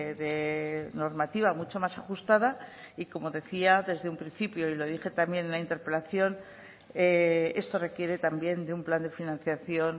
de normativa mucho más ajustada y como decía desde un principio y lo dije también en la interpelación esto requiere también de un plan de financiación